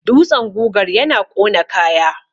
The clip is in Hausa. dutsen gugar yana ƙona kaya